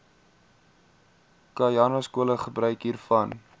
khanyaskole gebruik hiervan